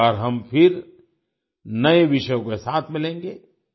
अगली बार हम फिर नये विषयों के साथ मिलेंगे